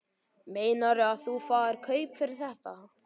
Meinarðu að þú fáir kaup fyrir þetta?